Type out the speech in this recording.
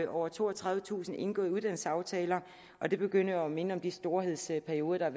over toogtredivetusind indgåede uddannelsesaftaler og det begynder jo at minde om de storhedsperioder